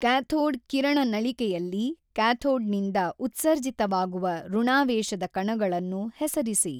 Cathode ಕಿರಣ ನಳಿಕೆಯಲ್ಲಿ cathode ನಿಂದ ಉತ್ಸರ್ಜಿತವಾಗುವ ಋಣಾವೇಶದ ಕಣಗಳನ್ನು ಹೆಸರಿಸಿ.